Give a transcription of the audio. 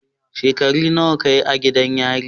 Shekaru nawa ka yi a gidan yari?